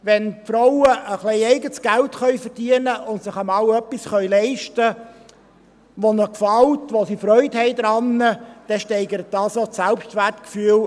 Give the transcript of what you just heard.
Wenn die Frauen ein bisschen eigenes Geld verdienen können und sich einmal etwas leisten können, das ihnen gefällt und woran sie Freude haben, dann steigert dies auch das Selbstwertgefühl.